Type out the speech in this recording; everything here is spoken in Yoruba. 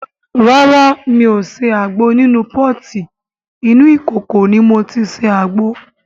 Rárá mi ò ṣe àgbo nínú pọ́ọ̀tì, inú ìkòkò ni mo ti ṣe àgbo.